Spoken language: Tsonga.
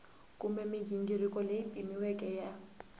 kumbe mighingiriko leyi pimiweke ya